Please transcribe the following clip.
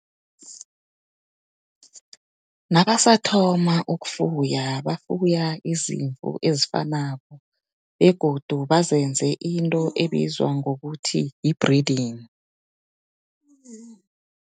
Nabasathoma ukufuya bafuya, bafuya izimvu ezifanako, begodu bazenze into ebizwa ngokuthi yi-breeding.